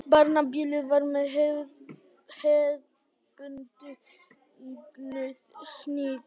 Barnaballið var með hefðbundnu sniði.